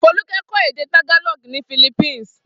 Folúkẹ́ kọ́ èdè Tagalog ní Philippines.